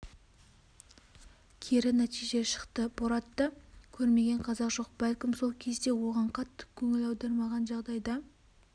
кері нәтиже шықты боратты көрмеген қазақ жоқ бәлкім сол кезде оған қатты көңіл аудармаған жағдайда